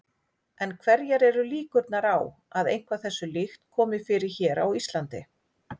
En hverjar eru líkurnar á að eitthvað þessu líkt komi fyrir hér á Íslandi?